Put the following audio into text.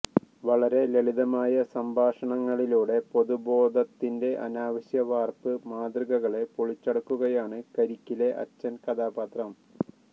വളരെ ലളിതമായ സംഭാഷണങ്ങളിലൂടെ പൊതുബോധത്തിന്റെ അനാവശ്യ വാർപ്പ് മാതൃകകളെ പൊളിച്ചടുക്കുകയാണ് കരിക്കിലെ അച്ഛൻ കഥാപാത്രം